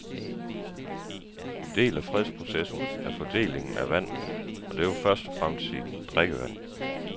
En del af fredsprocessen er fordelingen af vand, og det vil først og fremmest sige drikkevand.